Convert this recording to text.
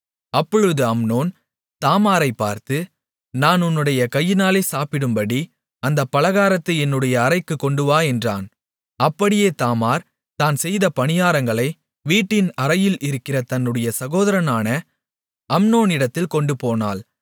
அப்பொழுது அம்னோன் தாமாரைப் பார்த்து நான் உன்னுடைய கையினாலே சாப்பிடும்படி அந்தப் பலகாரத்தை என்னுடைய அறைக்கு கொண்டுவா என்றான் அப்படியே தாமார் தான் செய்த பணியாரங்களை வீட்டின் அறையில் இருக்கிற தன்னுடைய சகோதரனான அம்னோனிடத்தில் கொண்டுபோனாள்